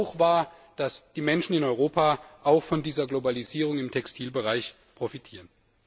Es ist auch wahr, dass die Menschen in Europa auch von dieser Globalisierung im Textilbereich profitieren.